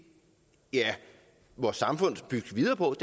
vores samfund skal bygge videre på